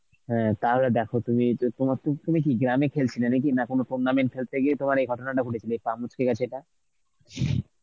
হ্যাঁ তাহলে দেখো তুমি যে তোমার তো তুমি কি গ্রামে খেলছিলে নাকি না কোন tournament খেলতে গিয়ে তোমার এই ঘটনাটা ঘটেছিল, পা মুচকে গেছে টা?